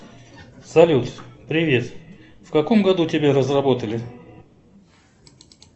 салют привет в каком году тебя разработали